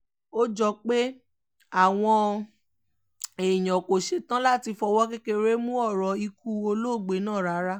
ó jọ pé àwọn èèyàn kò ṣẹ̀tàn láti fọwọ́ kékeré mú ọ̀rọ̀ ikú olóògbé náà rárá